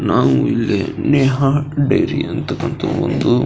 ನಾವು ಇಲ್ಲಿ ನೇಹಾ ಡೇರಿ ಅಂತಕಂತಹ ಒಂದು --